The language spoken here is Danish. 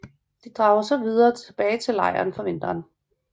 De drager så tilbage til lejren for vinteren